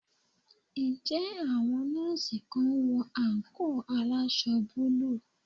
Ǹjẹ́ àwọn nurse kan ń wọ àǹkóò aláwọ̀ búlúù?